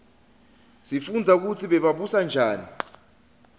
sifundza kutsi bebabusa njani